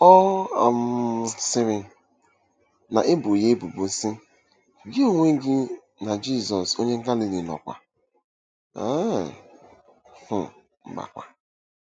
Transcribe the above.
Ọ um sịrị, na-ebo ya ebubo, sị: “Gị onwe gị na Jizọs onye Galili nọkwa um !” um